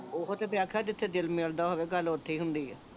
ਓਹੋ ਤੇ ਮੈਂ ਆਖਿਆ ਜਿੱਥੇ ਦਿਲ ਮਿਲਦਾ ਹੋਵੇ ਗੱਲ ਓਥੇ ਹੀ ਹੁੰਦੀ ਆ